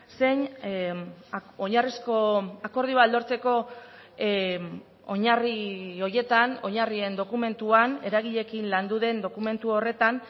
zein oinarrizko akordioa lortzeko oinarri horietan oinarrien dokumentuan eragileekin landu den dokumentu horretan